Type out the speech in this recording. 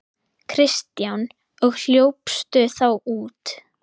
Kristján: Og hljópstu þá út?